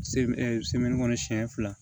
kɔnɔ siɲɛ fila